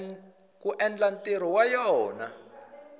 ku endla ntirho wa yona